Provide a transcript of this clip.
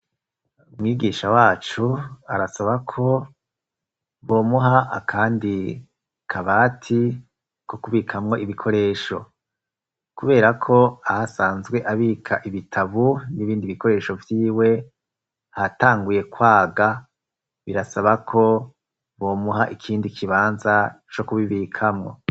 Umwigisha wacu arasaba ko bomuha akandi kabati ko kubikamwo ibikoresho. Kubera ko aho asanzwe abika ibitabu n'ibindi bikoresho vyiwe hatanguye kwaga, birasaba ko bomuha ikindi kibanza co kubibikamwo.